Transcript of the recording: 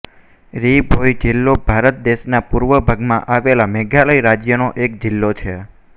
રી ભોઇ જિલ્લો ભારત દેશના પૂર્વ ભાગમાં આવેલા મેઘાલય રાજ્યનો એક જિલ્લો છે